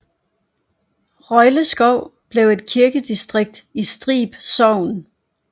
Røjleskov blev et kirkedistrikt i Strib Sogn